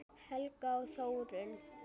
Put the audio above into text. Helgi og Þórunn.